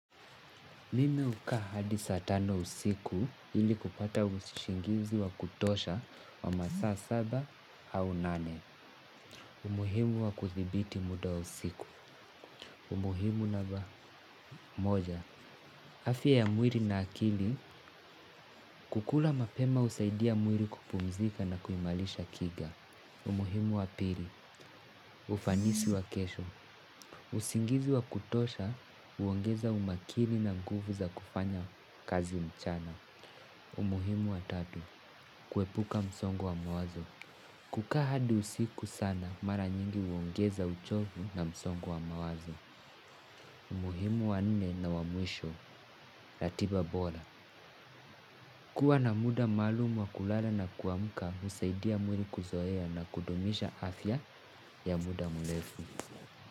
Mimi hukaa hadi saa tano usiku. Ili kupata ushingizi wa kutosha wa masaa saba au nane. Umuhimu wa kuthibiti muda usiku. Umuhimu naba moja. Afya ya mwiri na akili, kukula mapema husaidia mwili kupumzika na kuimalisha kiga. Umuhimu wa pili. Ufanisi wa kesho. Usingizi wa kutosha, uongeza umakini na nguvu za kufanya kazi mchana. Umuhimu wa tatu. Kuepuka msongo wa mawazo. Kukaa hadi usiku sana mara nyingi uongeza uchovu na msongo wa mawazo. Muhimu wa nne na wa mwisho. Ratiba bora. Kuwa na muda maalumu wa kulala na kuamuka husaidia mwili kuzoea na kudumisha afya ya muda mrefu.